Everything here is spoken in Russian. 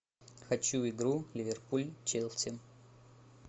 хочу игру ливерпуль челси